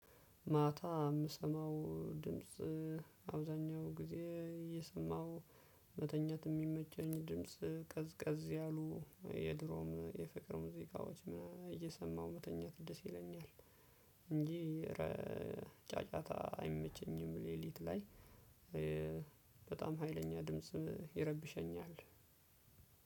ማታ የምሰማው ድምጽ አብዛኛው ጊዜ እየሰማው መተኛት የሚመቸኝ ድምጽ ቀዝቀዝ ያሉ የድሮም የፍቅር ሙዚቃዎች እየሰማሁ መተኛት ደስ ይለኛል። እንጂ ጫጫታ አይመቸኝም። ሌሊት ላይ በጣም ሀይለኛ ድምጽ ይረብሸኛል።